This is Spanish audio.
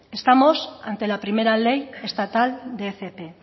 estamos ante la primera ley estatal de fp